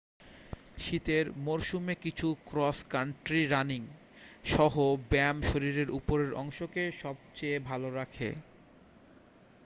শীতের মরসুমে কিছু ক্রস কান্ট্রি রানিং-সহ ব্যায়াম শরীরের উপরের অংশকে সবচেয়ে ভাল রাখে